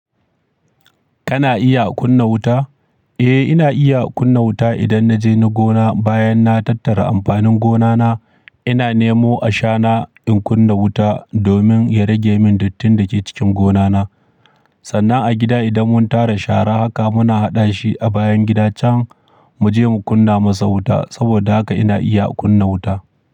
Kana iya kunna wuta? Eh, ina iya kunna wuta idan na je na gona bayan na tattara amfanin gonana. Ina nemo ashana in kunna wuta domin ya rage min duttin da ke cikin gonana. Sannan a gida idan mun tara shara haka muna haɗa shi a bayan gida can mu je mu kunna masa wuta. Saboda haka ina iya kunna wuta.